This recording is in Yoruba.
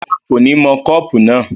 rárá, kò ní mọ kọ́pù náà